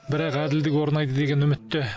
бірақ әділдік орнайды деген үмітте